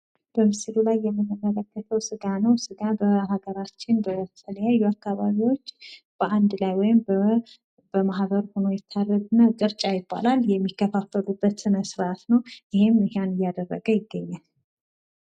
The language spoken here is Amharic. በምስሉ ላይ የምንመለከተው ስጋ ነው። ስጋ በሀገራችን በተለያዩ አካባቢዎች በአንድ ላይ ወይም በማህበር ሁኖ ይታረዳል። እና ቅርጫ ይባላል የሚከፋፈሉበት ስነስርዓት ነው። ይህም እየተቃረጠ ይገኛል።